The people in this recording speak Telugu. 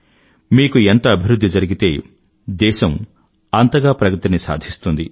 మీకు ఎంత అభివృధ్ధి జరిగితే దేశం అంతగా ప్రగతిని సాధిస్తుంది